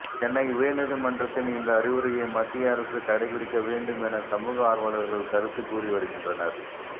சென்னை உயர்நீதிமன்றத்தின் இந்த அறிவுரையை மத்திய அரசு கடைபிடிக்க வேண்டும் என சமூக ஆர்வலர்கள் கருத்து கூறி வருகின்றனர்